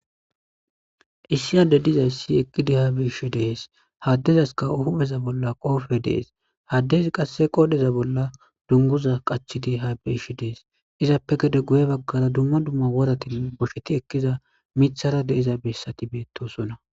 Issi hade dizayssi eqqidi ha biishi dees haddezaska hupheza bolla qoofe dees haddezi qasse qoodheza bolla dunguza qachidi ha biishi dees izappe gede guye baggara dumma dumma woratin bosheti ekkiza mithara deiza bessati beettosonna.